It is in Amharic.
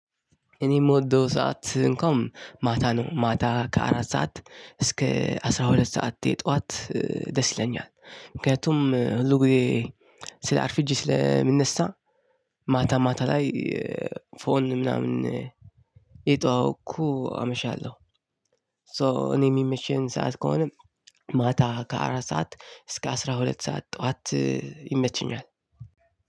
እኔ የምወደው ሰዓት እንኳን ማታ ነው ማታ ከአራት ሰዓት እስከ አስራ ሁለት ሰዓት ጧት ደስ ይለኛል። ምክንያቱም ሁልጊዜ አርፍጄ ስለምነሳ ማታ ማታ ላይ ፎን ምናምን እየተዋወኩ አመሻለሁ። ሶ እኔ የሚመቸኝ ሰዓት ከሆነ ማታ ከአራት ሰዓት እስከ አስራ ሁለት ሰዓት ጠዋት ይመቸኛል።